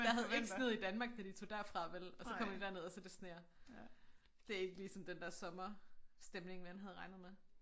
Der havde ikke sneet i Danmark da de tog derfra vel og så kommer de derned og så det sner det ikke lige sådan den der sommerstemning man havde regnet med